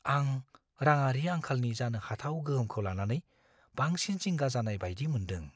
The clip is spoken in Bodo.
आं रांङारि आंखालनि जानो हाथाव गोहोमखौ लानानै बांसिन जिंगा जानाय बायदि मोनदों।